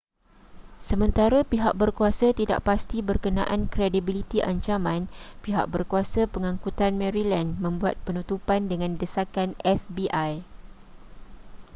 sementara pihak berkuasa tidak pasti berkenaan kredibiliti ancaman pihak berkuasa pangangkutan maryland membuat penutupan dengan desakan fbi